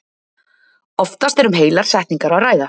Oftast er um heilar setningar að ræða.